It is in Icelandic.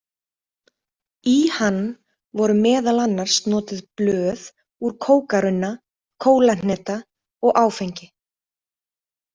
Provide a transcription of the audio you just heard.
Í hann voru meðal annars notuð blöð úr kókarunna, kólahneta og áfengi.